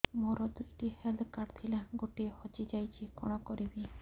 ମୋର ଦୁଇଟି health card ଥିଲା ଗୋଟିଏ ହଜି ଯାଇଛି କଣ କରିବି